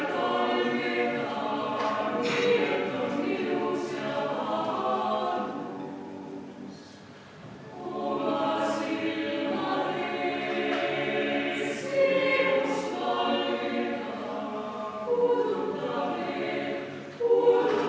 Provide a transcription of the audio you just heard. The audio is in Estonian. Tänan teid kõiki siia tulemast!